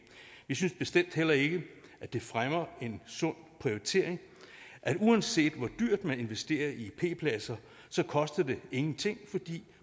vi synes bestemt heller ikke at det fremmer en sund prioritering at uanset hvor dyrt man investerer i p pladser koster det ingenting fordi